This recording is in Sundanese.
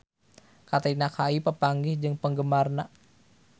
Katrina Kaif papanggih jeung penggemarna